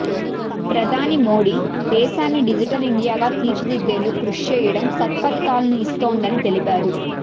ప్రధాని మోదీ దేశాన్ని డిజిటల్ ఇండియాగా తీర్చిదిద్దేందుకు కృషి చేయడం సత్ఫలితాలను ఇస్తోందని తెలిపారు